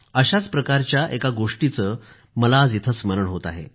अशाच प्रकारच्या एका गोष्टीचे मला आज इथं स्मरण होत आहे